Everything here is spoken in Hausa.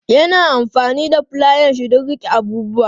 Ya na amfani da fulayanshi don riƙe abubuwa.